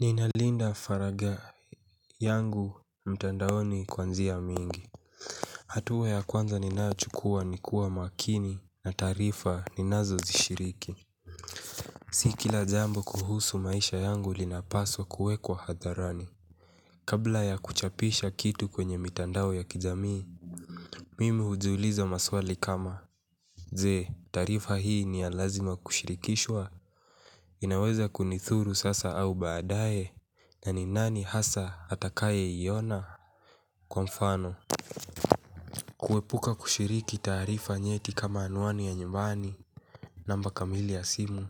Nina Linda Faragha yangu mtandaoni kwa njia mingi. Hatua ya kwanza ninayo chukua ni kuwa makini na taarifa ninazo zishiriki. Si kila jambo kuhusu maisha yangu linapaswa kuwekwa hadharani kabla ya kuchapisha kitu kwenye mitandao ya kijamii. Mimi hujiliza maswali kama je taarifa hii ni ya lazima kushirikishwa. Inaweza kunithuru sasa au baadaye na ni nani hasa atakaye iona, kwa mfano kuepuka kushiriki taarifa nyeti kama anwani ya nyumbani namba kamili ya simu,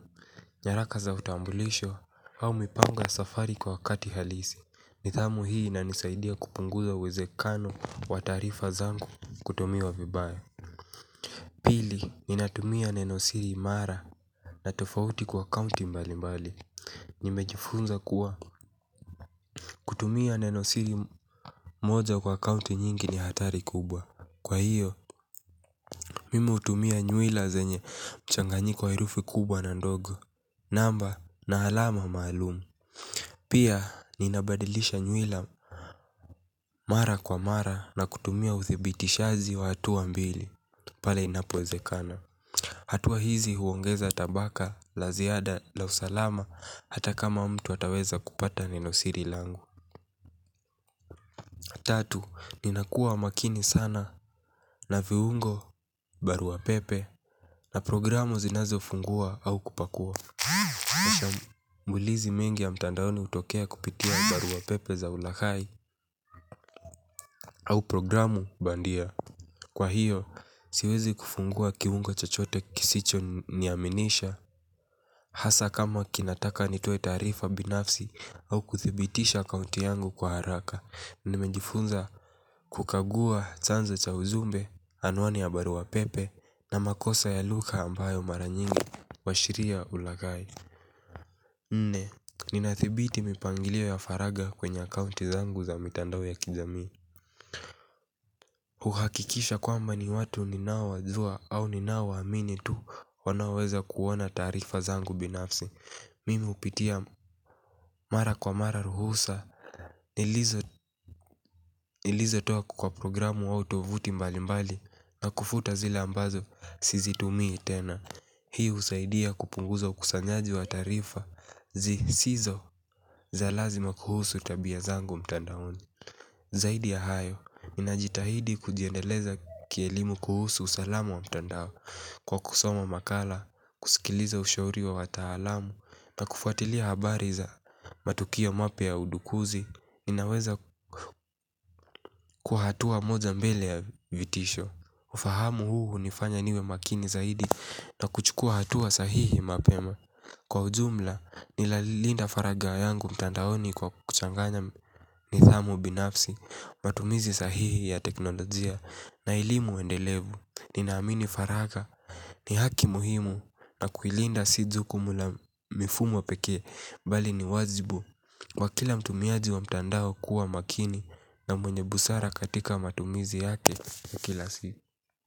nyaraka za utambulisho, au mipango ya safari kwa wakati halisi. Nidhamu hii inanisaidia kupunguza uwezekano wa taarifa zangu kutumiwa vibaya. Pili, ninatumia neno siri imara na tofauti kwa kaunti mbali mbali. Nimejifunza kuwa, kutumia nenosiri moja kwa akaunti nyingi ni hatari kubwa kwa hio mimi hutumia nywila zenye mchanganyiko wa herufi kubwa na ndogo namba na alama maalum. Pia, ninabadilisha nyuwila mara kwa mara na kutumia uthibitishazi wa hatua mbili pale inapoezekana hatua hizi huongeza tabaka la ziada la usalama hata kama mtu ataweza kupata ninosiri langu. Tatu, ninakua makini sana na viungo barua pepe na programu zinazo fungua au kupakua mbulizi mengi ya mtandaoni utokea kupitia barua pepe za ulaghai au programu bandia, kwa hio siwezi kufungua kiungo chochote kisicho niaminisha. Hasa kama kinataka nitoe taarifa binafsi au kuthibitisha akaunti yangu kwa haraka. Nimejifunza kukagua chanzo cha uzumbe anwani ya barua pepe na makosa ya lugha ambayo mara nyingi washiria ulaghai nne, ninathibiti mipangilio ya faraga kwenye akaunti zangu za mitandao ya kijamii. Uhakikisha kwamba ni watu ninao wajua au ninao waamini tu wanaoweza kuona taarifa zangu binafsi. Mimi hupitia mara kwa mara ruhusa nilizo toa kwa programu au tovuti mbali mbali na kufuta zile ambazo sizi tumii tena. Hiu usaidia kupunguza ukusanyaji wa taarifa zi sizo za lazima kuhusu tabia zangu mtandaoni. Zaidi ya hayo, ninajitahidi kujiendeleza kielimu kuhusu usalamu wa mtandao kwa kusoma makala, kusikiliza ushauri wa watahalamu na kufatilia habari za matukia mapya ya udukuzi. Ninaweza kuhatua moja mbele ya vitisho. Ufahamu huu hunifanya niwe makini zaidi na kuchukua hatua sahihi mapema. Kwa ujumla, nilalinda faraga yangu mtandaoni kwa kuchanganya nidhamu binafsi matumizi sahihi ya teknolojia na elimu endelevu ninaamini faraga ni haki muhimu na kuilinda si jukumu la mifumo pekee bali ni wajibu wa kila mtumiaji wa mtandao kuwa makini na mwenye busara katika matumizi yake na kila si.